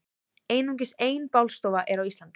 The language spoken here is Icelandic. Einungis ein bálstofa er á Íslandi.